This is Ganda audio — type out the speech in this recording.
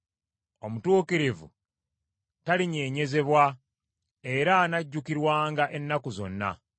Omutuukirivu talinyeenyezebwa, era anajjukirwanga ennaku zonna.